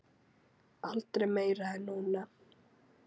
Aldrei meira en núna.